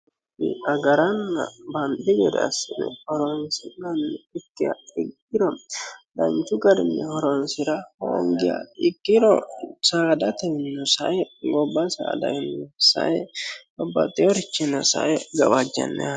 agaranna banxi gede assine horonsi'nanniha ikkiha ikkiro danchu garinni horonsira hoongiya ikkiro saadate ssae gobba saadannino sae babbaxeworichinnino sae gawaajjanno yaate.